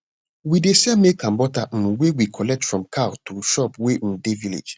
we dey sell milk and butter um wey we collect from cow to shop wey um dey village